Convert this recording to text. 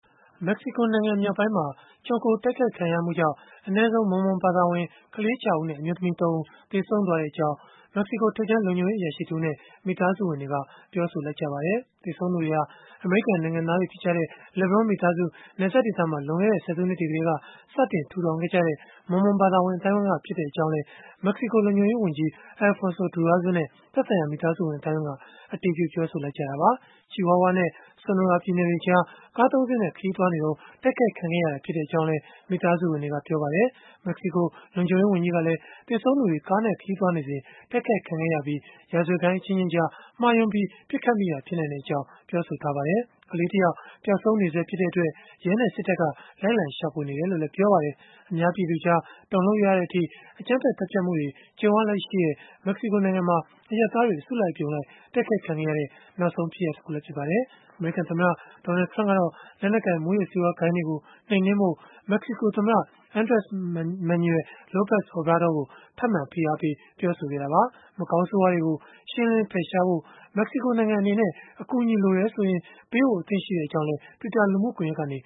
မက္ကစီကိုနိုင်ငံ မြောက်ပိုင်းမှာ ခြုံခိုတိုက်ခိုက်မှုကြောင့် ကလေး ၆ ဦးနဲ့ အမျိုးသမီး ၃ ဦး ထက်မနည်း သေဆုံးသွားကြောင်း မက္ကစီကို ထိပ်တန်း လုံခြုံရေးအရာရှိ တဦးနဲ့ မိသားစုဝင်တွေက ပြောဆိုလိုက်ကြပါတယ်။ သေဆုံးသူတွေဟာ လွန်ခဲ့တဲ့ ဆယ်စုနှစ်တွေတုန်းက နယ်စပ်ဒေသမှာ အမေရိကန် နိုင်ငံသားတွေ ဖြစ်ကြတဲ့ LeBaron မိသားစု စတင်ထူထောင်ခဲ့ကြတဲ့ Mormom ဘာသာရေး အသိုင်းအဝန်းက ဖြစ်ကြောင်းလည်း မက္ကစီကို လုံခြုံရေးဝန်ကြီး Alfonso Durazo နဲ့ သက်ဆိုင်ရာ မိသားစုဆွေမျိုးတွေက အတည်ပြုခဲ့ကြတာပါ။ Chihuahua နဲ့ Sonora ပြည်နယ်တွေကြား ကား ၃ စင်းနဲ့ ခရီးသွားစဉ် တိုက်ခိုက်ခံခဲ့ရတာ ဖြစ်ကြောင်းလည်း မိသားစုဝင်တွေက ပြောပါတယ်။ မက္ကစီကို လုံခြုံရေးဝန်ကြီးကလည်း သေဆုံးသူတွေ ကားနဲ့ခရီးသွားနေစဉ် တိုက်ခိုက်ခံခဲ့ရပြီး ရာဇဝတ်ဂိုဏ်းအချင်းချင်းကြား မှားယွင်းပြီး ပစ်ခတ်မိတာ ဖြစ်နိုင်ကြောင်း ပြောဆိုခဲ့တာပါ။ ကလေးတယောက် ပျောက်ဆုံးနေဆဲ ဖြစ်တဲ့အတွက် ရဲနဲ့ စစ်တပ်က လိုက်လံ ရှာဖွေနေကြောင်းလည်း ပြောပါတယ်။ အများပြည်သူကြား တုန်လှုပ်ရတဲ့အထိ အကြမ်းဖက် သတ်ဖြတ်မှုတွေ ကြုံရလေ့ရှိတဲ့ မက္ကစီကို နိုင်ငံမှာ အရပ်သားတွေ အစုလိုက်အပြုံလိုက် တိုက်ခိုက်ခံခဲ့ရတဲ့ နောက်ဆုံး ဖြစ်ရပ်တခုလည်း ဖြစ်ပါတယ်။ အမေရိကန်သမ္မတ Donald Trump ကတော့ လက်နက်ကိုင် မူးယစ်ဆေးဝါး ဂိုဏ်းတွေကို နှိမ်နင်းဖို့ မက္ကစီကိုသမ္မတ Andres Manuel Lopez Obrador ကို ထပ်မံ ဖိအားပေးပြောဆိုခဲ့တာပါ။ မကောင်းဆိုးဝါးတွေကို ရှင်းလင်းဖယ်ရှားဖို့ မက္ကစီကိုနိုင်ငံ အနေနဲ့ အကူအညီလိုတယ်ဆိုရင် ပေးဖို့ အသင့်ရှိကြောင်းလည်း Twitter လူမှုကွန်ရက်ကနေ